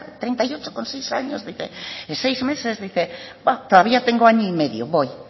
treinta y ocho con seis años dice bah todavía tengo año y medio voy y